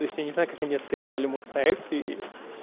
если не знаю как они оценивают проекты